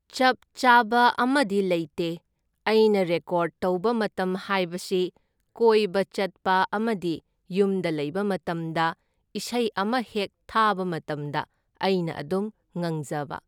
ꯆꯞ ꯆꯥꯕ ꯑꯃꯗꯤ ꯂꯩꯇꯦ, ꯑꯩꯅ ꯔꯦꯀꯣꯔꯗ ꯇꯧꯕ ꯃꯇꯝ ꯍꯥꯏꯕꯁꯤ ꯀꯣꯏꯕ ꯆꯠꯄ ꯑꯃꯗꯤ ꯌꯨꯝꯗ ꯂꯩꯕ ꯃꯇꯝꯗ ꯏꯁꯩ ꯑꯃ ꯍꯦꯛ ꯊꯥꯕ ꯃꯇꯝꯗ ꯑꯩꯅ ꯑꯗꯨꯝ ꯉꯪꯖꯕ꯫